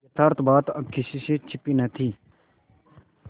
यथार्थ बात अब किसी से छिपी न थी